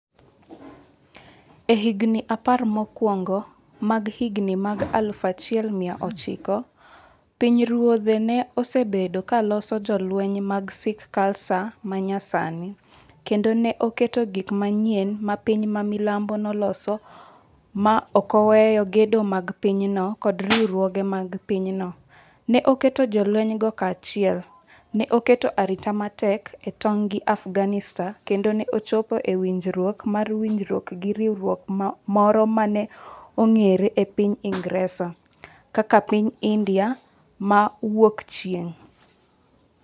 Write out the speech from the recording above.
E higini apar mokwongo mag higni mag aluf achiel mia ochiko, pinyruodhe ne osebedo ka loso jolweny mag Sikh Khalsa ma nyasani, kendo ne oketo gik manyien ma piny ma milambo noloso ma ok oweyo gedo mag pinyno kod riwruoge mag pinyno, ne oketo jolwenygo kanyachiel, ne oketo arita matek e tong’ gi Afghanistan kendo ne ochopo e winjruok mar winjruok gi riwruok moro ma ne ong’ere e piny Ingresa. kaka piny India ma Wuokchieng’.